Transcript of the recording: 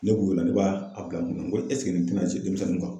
Ne b'o la ne b'a bila nin na n ko nin tɛna denmisɛnninw kan.